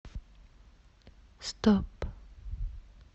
стоп